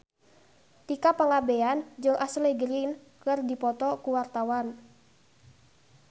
Tika Pangabean jeung Ashley Greene keur dipoto ku wartawan